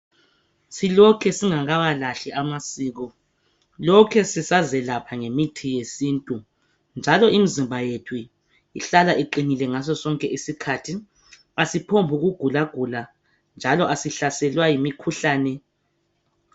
Silokhe singawalahli amasiko, silokhe sisazelapha ngemithi yesintu. Njalo imizimba yethu ihlala iqinile ngasosonke isikhathi, asiphongugulagula njalo asiphonguhlaselwa yimikhuhlane.